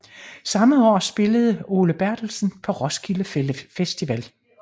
Samme år spillede Ole Berthelsen på Roskilde Festival